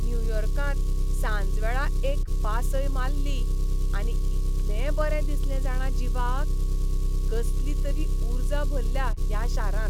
न्युयॉर्कांत सांजवेळा एक पासय माल्ली आनी इतलें बरें दिसलें जाणा जिवाक. कसली तरी उर्जा भल्ल्या ह्या शारांत.